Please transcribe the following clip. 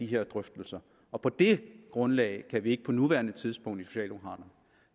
de her drøftelser og på det grundlag kan vi ikke på nuværende tidspunkt i socialdemokraterne